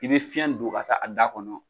I bɛ fiyɛn don ka taa a da kɔnɔ.